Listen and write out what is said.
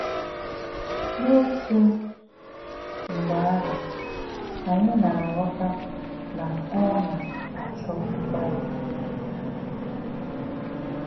N’òtú̄ mḡbé̄ āhū̄, ànyí̄ nā̄-àghọ̀tà̄ nà̄ ọ́ nā̄-àchọ̄ mgbálí̄.